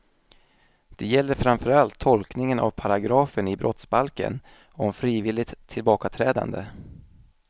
Det gäller framförallt tolkningen av paragrafen i brottsbalken om frivilligt tillbakaträdande.